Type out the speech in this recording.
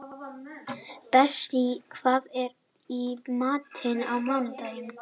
Bessí, hvað er í matinn á mánudaginn?